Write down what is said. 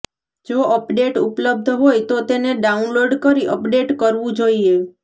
જો અપડેટ ઉપલબ્ધ હોય તો તેને ડાઉનલોડ કરી અપડેટ કરવું જોઈએ